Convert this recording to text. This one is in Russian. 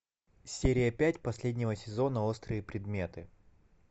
серия пять последнего сезона острые предметы